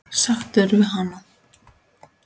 Sáttur við hana?